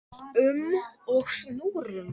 um og snúrum.